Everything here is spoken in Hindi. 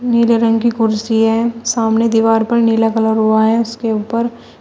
नीले रंग की कुर्सी है सामने दीवार पर नीला कलर हुआ है उसके ऊपर--